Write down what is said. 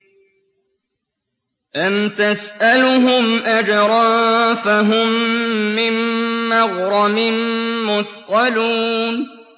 أَمْ تَسْأَلُهُمْ أَجْرًا فَهُم مِّن مَّغْرَمٍ مُّثْقَلُونَ